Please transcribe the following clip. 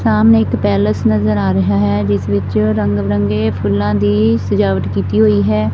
ਸਾਹਮਣੇ ਇੱਕ ਪੈਲਸ ਨਜ਼ਰ ਆ ਰਿਹਾ ਹੈ ਜਿਸ ਵਿੱਚ ਰੰਗ ਬਰੰਗੇ ਫੁੱਲਾਂ ਦੀ ਸਜਾਵਟ ਕੀਤੀ ਹੋਈ ਹੈ।